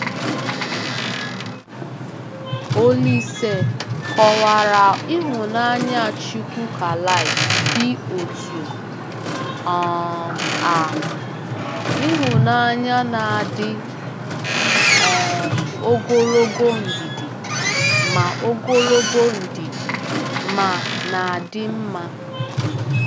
Olise kọwara ịhụnanya Chukwukalike dị otú um a: “Ịhụnanya na-adị um ogologo ndidi ma ogologo ndidi ma na-adị mma. um